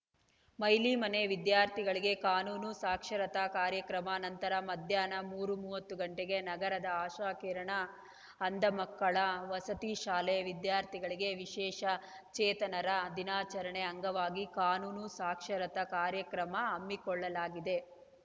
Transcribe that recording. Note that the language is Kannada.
ಮೈಲಿಮನೆ ವಿದ್ಯಾರ್ಥಿಗಳಿಗೆ ಕಾನೂನು ಸಾಕ್ಷರತಾ ಕಾರ್ಯಕ್ರಮ ನಂತರ ಮಧ್ಯಾಹ್ನ ಮೂರು ಮೂವತ್ತು ಗಂಟೆಗೆ ನಗರದ ಅಶಾಕಿರಣ ಅಂಧಮಕ್ಕಳ ವಸತಿ ಶಾಲೆ ವಿದ್ಯಾರ್ಥಿಗಳಿಗೆ ವಿಶೇಷ ಚೇತನರ ದಿನಾಚರಣೆ ಅಂಗವಾಗಿ ಕಾನೂನು ಸಾಕ್ಷರತಾ ಕಾರ್ಯಕ್ರಮ ಹಮ್ಮಿಕೊಳ್ಳಲಾಗಿದೆ